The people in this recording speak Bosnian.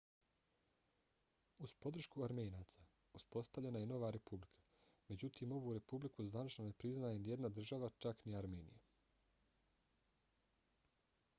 uz podršku armenaca uspostavljena je nova republika. međutim ovu republiku zvanično ne priznaje nijedna država čak ni armenija